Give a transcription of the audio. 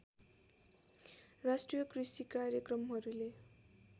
राष्ट्रिय कृषि कार्यक्रमहरूले